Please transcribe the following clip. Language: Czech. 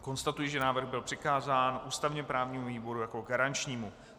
Konstatuji, že návrh byl přikázán ústavně právnímu výboru jako garančnímu.